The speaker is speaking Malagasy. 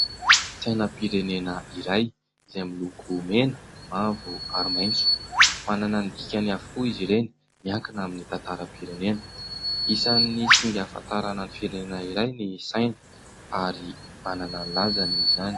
Sainam-pirenena iray izay miloko mena, mavo ary maitso. Manana ny dikany avokoa izy ireny miankina amin'ny tantaram-pirenena. Isan'ny singa ahafantarana ny firenenea iray ny saina ary manana ny lazany izany.